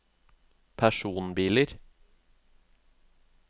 personbiler